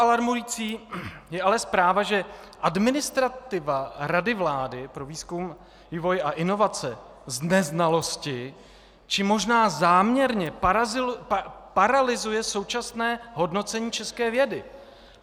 Alarmující je ale zpráva, že administrativa Rady vlády pro výzkum, vývoj a inovace z neznalosti, či možná záměrně paralyzuje současné hodnocení české vědy.